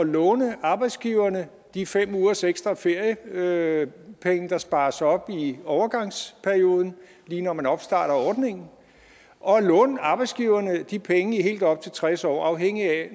låne arbejdsgiverne de fem ugers ekstra feriepenge der spares op i overgangsperioden lige når man opstarter ordningen og at låne arbejdsgiverne de penge i helt op til tres år afhængigt af